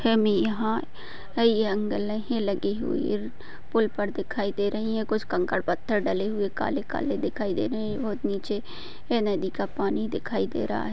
हमें यहा ऐंगल ही लगी हुई पूल पर दिखाई दे रही है कुछ कंकड़ पत्थर डले हुवे काले-काले दिखाई दे रहे है और नीचे नदी का पानी दिखाई दे रहा है।